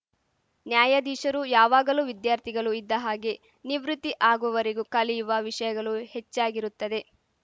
ನ್ಯಾಯಾಧೀಶರು ಯಾವಾಗಲು ವಿದ್ಯಾರ್ಥಿಗಲು ಇದ್ದಹಾಗೆ ನಿವೃತ್ತಿ ಆಗುವವರೆಗೂ ಕಲಿಯುವ ವಿಷಯಗಲು ಹೆಚ್ಚಾಗಿರುತ್ತದೆ